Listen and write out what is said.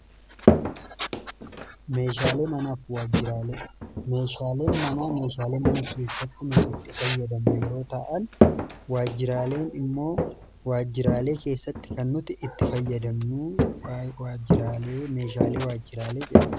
meeshaalee manaa fi waajjiraalee, meeshaaleen manaa meeshaalee mana keessatti namni itti fayyadaman yeroo ta'an waajjiraaleen immoo waajjiraalee keessatti kan nuti itti fayyadamnuu waajjiraalee meeshaalee waajjiraalee jedhama.